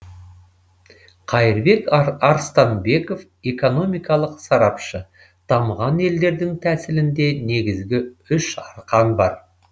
қайырбек арыстанбеков экономикалық сарапшы дамыған елдердің тәсілінде негізгі үш арқан бар